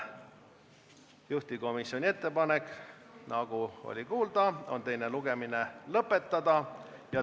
Juhtivkomisjoni ettepanek, nagu oli kuulda, on teine lugemine lõpetada.